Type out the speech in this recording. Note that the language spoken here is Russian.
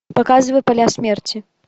показывай поля смерти